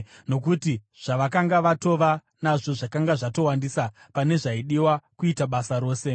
nokuti zvavakanga vatova nazvo zvakanga zvatowandisa pane zvaidiwa kuita basa rose.